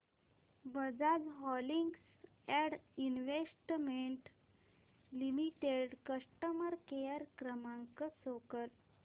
Bajaj holdings and investment limited customer care क्रमांक show कर